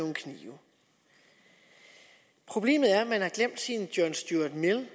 en kniv problemet er at man har glemt sin john stuart mill